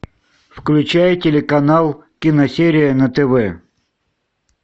включай телеканал киносерия на тв